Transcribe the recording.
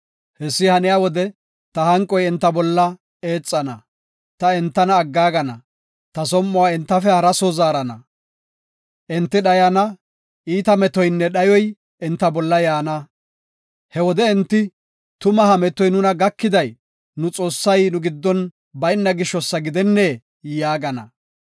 Hessi haniya wode ta hanqoy enta bolla eexana; ta enta aggaagana; ta som7uwa entafe hara soo zaarana. Enti dhayana; iita metoynne dhayoy enta bolla yaana. He wode enti, ‘Tuma ha metoy nuna gakiday nu Xoossay nu giddon bayna gisho gidennee?’ yaagana.